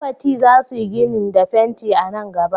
Roboti za su yi ginin da fenti a nan gaba.